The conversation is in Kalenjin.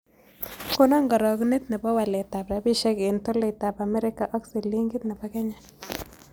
Konon karogunet ne po waletap rabisiek eng' tolaitap amerika ak silingit ne po kenya